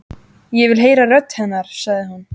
Ég vil heyra rödd hennar, sagði hún.